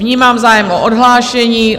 Vnímám zájem o odhlášení.